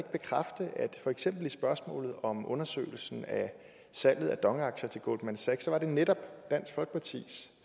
for eksempel i spørgsmålet om undersøgelsen af salget af dong aktier til goldman sachs var det netop dansk folkepartis